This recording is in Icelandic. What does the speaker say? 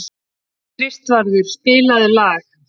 Kristvarður, spilaðu lag.